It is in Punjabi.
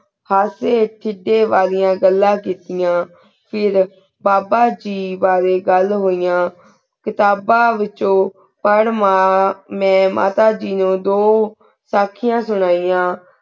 ਹਸੀ ਖਿੜੀ ਵਾਲੇਯਾਂ ਘਾਲਨ ਕੇਤੇਯਾ ਫੇਰ ਬਾਬਾ ਜੀ ਬਰੀ ਘਾਲ ਹੁਹਿਯਾਂ ਕਿਤਾਬ੍ਨ ਵਿਛੁੰ ਪਰ ਮਾਨ ਮੈਂ ਮਾਤਾ ਜੀ ਨੂ ਦੂ ਤਾਖ੍ਯਾਂ ਸੁਨੇਯਾਂ